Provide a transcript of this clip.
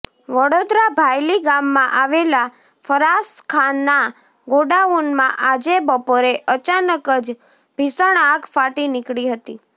વડોદરાઃ ભાયલી ગામમાં આવેલા ફરાસખાના ગોડાઉનમાં આજે બપોરે અચાનક જ ભીષણ આગ ફાટી નીકળી હતી